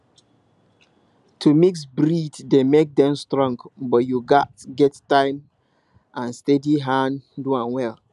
to mix breed dey make dem strong but you gats get time and steady hand do am well